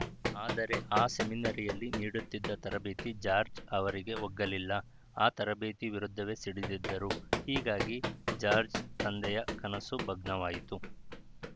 ಆದರೆ ಆ ಸೆಮಿನರಿಯಲ್ಲಿ ನೀಡುತ್ತಿದ್ದ ತರಬೇತಿ ಜಾರ್ಜ್ ಅವರಿಗೆ ಒಗ್ಗಲಿಲ್ಲ ಆ ತರಬೇತಿ ವಿರುದ್ಧವೇ ಸಿಡಿದೆದ್ದರು ಹೀಗಾಗಿ ಜಾರ್ಜ್ ತಂದೆಯ ಕನಸು ಭಗ್ನವಾಯಿತು